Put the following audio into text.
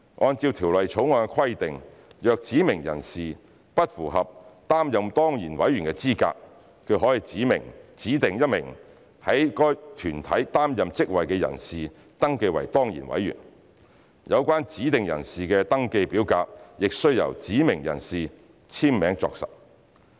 按照《條例草案》規定，若指明人士不符合擔任當然委員的資格，他可指定1名在該團體擔任職位的人士登記為當然委員，有關指定人士的登記表格亦須由指明人士簽名作實。